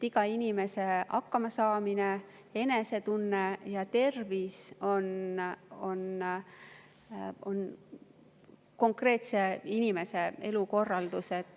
Iga inimese hakkamasaamine, enesetunne ja tervis konkreetse inimese elukorraldusest.